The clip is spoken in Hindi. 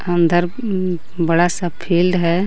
अंदर हूँ बड़ा सा फील्ड है.